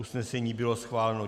Usnesení bylo schváleno.